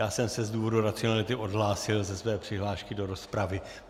Já jsem se z důvodu racionality odhlásil ze své přihlášky do rozpravy.